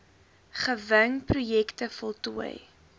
gewing projekte voltooi